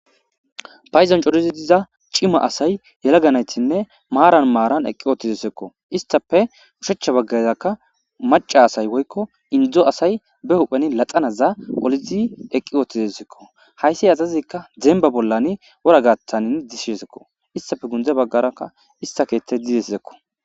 phayzon corizi diza cima asay yelaganaytinne maaran maaran eqqi oottizesekko istafe ushechcha baggazakka maca asay woykko indzo asay be hupheni laxanaza olizi eqqi ootidesekko hayssi azazikka demba bollani wora gattanin disshesekko istafe gunde baggarakka ista keetey didesizekko